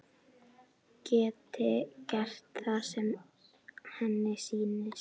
Geti gert það sem henni sýnist.